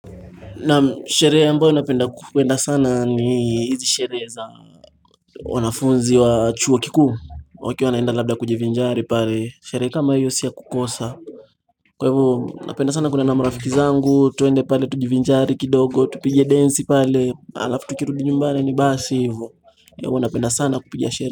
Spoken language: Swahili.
Naam sherehe ambayo napenda kwenda sana ni hizi sherehe za wanafunzi wa chuo kikuu wakiwa wanaenda labda kujivinjari pale Sherehe kama hiyo si ya kukosa Kwa hivo napenda sana kwenda na marafiki zangu twende pale tujivinjari kidogo tupige densi pale Alafu tukirudi nyumbani ni basi hivyo huwa napenda sana kupigia sherehe.